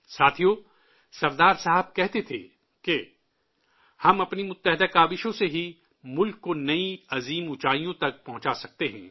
ساتھیو، سردار صاحب کہتے تھے کہ ''ہم اپنے اتحاد سے ہی ملک کو نئی عظیم بلندیوں تک پہنچا سکتے ہیں